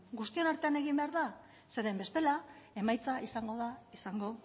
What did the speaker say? guztion artean egin behar da zeren bestela emaitza izango da izango